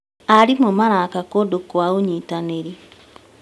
Arimũ maraka kũndũ kwa ũnyitanĩri.